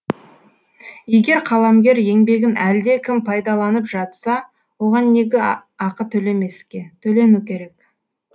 егер қаламгер еңбегін әлде кім пайдаланып жатса оған неге ақы төлемеске төлену керек